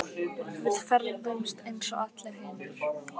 Við ferðumst eins og allir hinir.